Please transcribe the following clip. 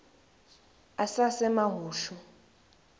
asasemahushu